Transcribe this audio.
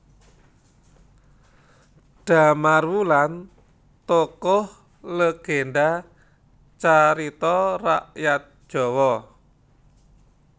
Damar Wulan tokoh legenda carita rakyat Jawa